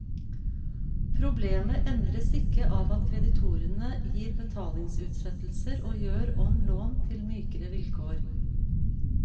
Problemet endres ikke av at kreditorene gir betalingsutsettelser og gjør om lån til mykere vilkår.